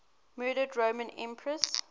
murdered roman empresses